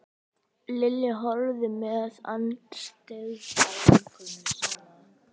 Lilja horfði með andstyggð á vinkonu sína.